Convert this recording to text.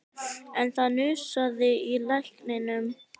En það hnussaði í lækninum